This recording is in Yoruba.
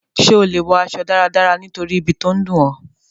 Sé o le wo aso dáradára nítorí ibi to n dùn ọ?